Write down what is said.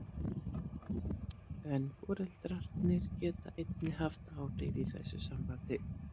En foreldrarnir geta einnig haft áhrif í þessu sambandi.